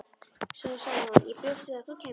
Svo sagði hún: Ég bjóst við að þú kæmir.